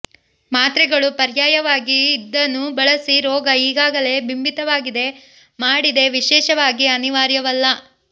ಮಾತ್ರೆಗಳು ಪರ್ಯಾಯವಾಗಿ ಇದನ್ನು ಬಳಸಿ ರೋಗ ಈಗಾಗಲೇ ಬಿಂಬಿತವಾಗಿದೆ ಮಾಡಿದೆ ವಿಶೇಷವಾಗಿ ಅನಿವಾರ್ಯವಲ್ಲ